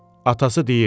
Atası deyirdi: